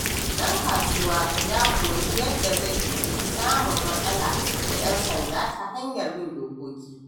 Ɗan kasuwa ya koyi yadda zai guji samun matsala da 'yan sanda ta hanyar bin dokoki.